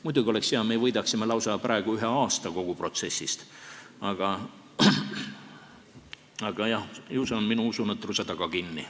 Muidugi oleks see hea, me võidaksime lausa ühe aasta kogu protsessis, aga jah, ju see on minu usunõtruse taga kinni.